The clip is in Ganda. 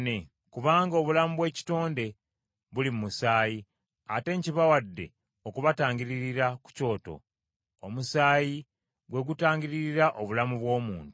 Kubanga obulamu bw’ekitonde buli mu musaayi, ate nkibawadde okubatangiririra ku kyoto; omusaayi gwe gutangiririra obulamu bw’omuntu.